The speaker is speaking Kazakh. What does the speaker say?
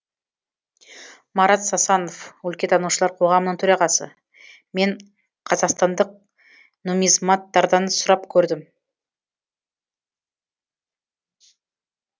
марат сасанов өлкетанушылар қоғамының төрағасы мен қазақстандық нуммизматтардан сұрап көрдім